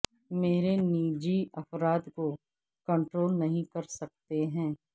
میرے نجی افراد کو کنٹرول نہیں کر سکتے ہیں